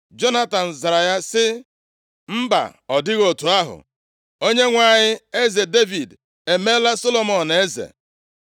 Jonatan zara ya sị, “Mba, ọ dịghị otu ahụ! Onyenwe anyị eze Devid emeela Solomọn eze.